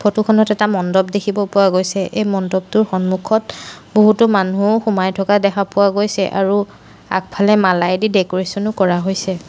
Photo খনত এটা মণ্ডপ দেখিব পোৱা গৈছে এই মণ্ডপটোৰ সন্মুখত বহুতো মানুহ সোমাই থকা দেখা পোৱা গৈছে আৰু আগফালেদি মালাইদি ডেকোৰেশ্যন ও কৰা হৈছে।